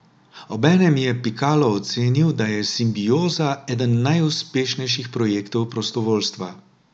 Obenem je Pikalo ocenil, da je Simbioza eden najuspešnejših projektov prostovoljstva.